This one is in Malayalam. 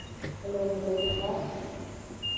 Hello ഗോപിക